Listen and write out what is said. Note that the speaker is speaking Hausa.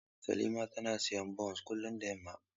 Salima tana siyan bons kullum da yamma.